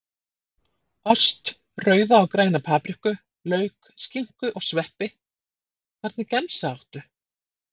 Ost, rauða og græna papriku, lauk, skinku og sveppi Hvernig gemsa áttu?